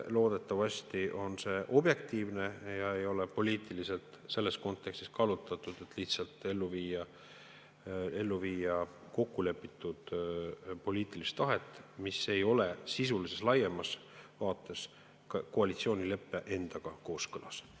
Loodetavasti on see objektiivne ega ole poliitiliselt kallutatud, et lihtsalt ellu viia kokkulepitud poliitilist tahet, mis ei ole sisulises ega laiemas vaates koalitsioonileppe endaga kooskõlas.